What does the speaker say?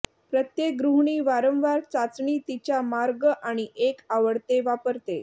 प्रत्येक गृहिणी वारंवार चाचणी तिच्या मार्ग आणि एक आवडते वापरते